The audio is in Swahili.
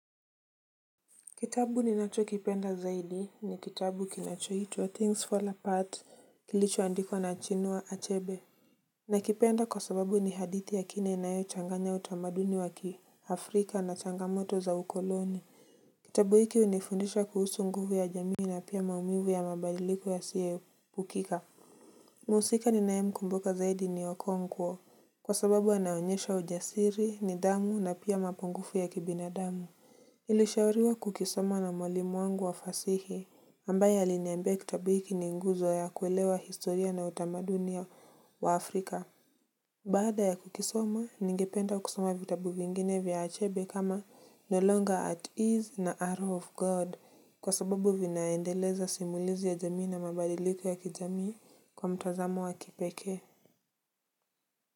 Kitabu ninacho kipenda zaidi ni kitabu kinachoitwa things fall apart kilichoandikaa na chinua achebe. Nakipenda kwa sababu ni hadithi ya kina inayo changanya utamaduni wa kiafrika na changamoto za ukoloni. Kitabu hiki hunifundisha kuhusu nguvu ya jamii na pia maumivu ya mabadiliko yasiyoepukika. Mhusika ninayemkumbuka zaidi ni okonkwo kwa sababu anaonyesha ujasiri nidhamu na pia mapungufu ya kibinadamu. Ilishauriwa kukisoma na mwalimu wangu wa fasihi ambaye aliniambia kutabu hiki ni nguzo ya kuelewa historia na utamadunia wa Afrika. Baada ya kukisoma, ningependa kusoma vitabu vingine vya achebe kama no longer at ease na arrow of God kwa sababu vinaendeleza simulizi ya jamii na mabadiliko ya kijamii kwa mtazamo wa kipekee.